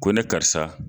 Ko ne karisa